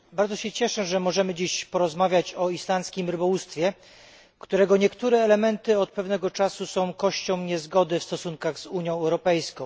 Bardzo się cieszę, że możemy dzisiaj porozmawiać o islandzkim rybołówstwie, którego niektóre elementy od pewnego czasu są kością niezgody w stosunkach z Unią Europejską.